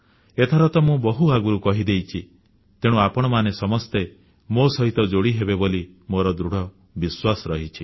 ଏଥର ତ ମୁଁ ବହୁତ ଆଗରୁ କହିଦେଇଛି ତେଣୁ ଆପଣମାନେ ସମସ୍ତେ ମୋ ସହିତ ଯୋଡ଼ିହେବେ ବୋଲି ମୋର ଦୃଢ଼ ବିଶ୍ୱାସ ରହିଛି